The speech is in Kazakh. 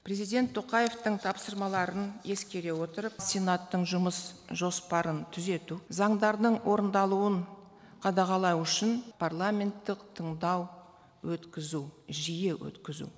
президент тоқаевтың тапсырмаларын ескере отырып сенаттың жұмыс жоспарын түзету заңдардың орындалуын қадағалау үшін парламенттік тыңдау өткізу жиі өткізу